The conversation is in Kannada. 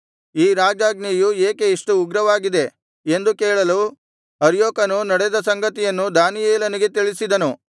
ಈ ರಾಜಾಜ್ಞೆಯು ಏಕೆ ಇಷ್ಟು ಉಗ್ರವಾಗಿದೆ ಎಂದು ಕೇಳಲು ಅರ್ಯೋಕನು ನಡೆದ ಸಂಗತಿಯನ್ನು ದಾನಿಯೇಲನಿಗೆ ತಿಳಿಸಿದನು